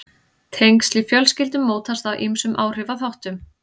Tengsl í fjölskyldum mótast af ýmsum áhrifaþáttum.